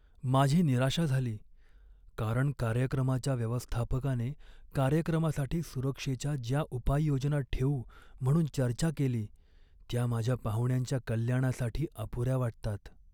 माझी निराशा झाली, कारण कार्यक्रमाच्या व्यवस्थापकाने कार्यक्रमासाठी सुरक्षेच्या ज्या उपाययोजना ठेवू म्हणून चर्चा केली त्या माझ्या पाहुण्यांच्या कल्याणासाठी अपुऱ्या वाटतात.